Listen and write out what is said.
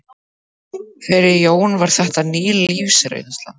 Fyrir Jóni var þetta ný lífsreynsla.